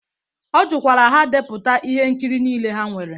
Ọ jụkwara ha depụta ihe nkiri niile ha nwere.